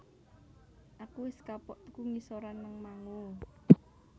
Aku wes kapok tuku ngisoran nang Mango